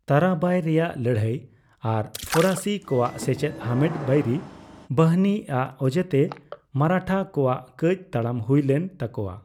ᱛᱟᱨᱟᱵᱟᱭ ᱨᱮᱭᱟᱜ ᱞᱟᱹᱲᱭᱟᱹᱭ ᱟᱨ ᱯᱷᱚᱨᱟᱥᱤ ᱠᱚᱣᱟᱜ ᱥᱮᱪᱮᱫ ᱦᱟᱢᱮᱴ ᱵᱟᱭᱨᱤ ᱵᱟᱦᱤᱱᱤ ᱟᱜ ᱚᱡᱮᱛᱮ ᱢᱟᱨᱟᱴᱷᱟ ᱠᱚᱣᱟᱜ ᱠᱟᱹᱡᱽ ᱛᱟᱲᱟᱢ ᱦᱩᱭ ᱞᱮᱱ ᱛᱟᱠᱚᱣᱟ ᱾